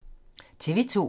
TV 2